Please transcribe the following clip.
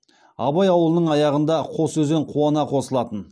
абай ауылының аяғында қос өзен қуана қосылатын